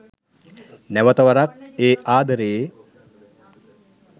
නැවත වරක් ඒ ආදරයේ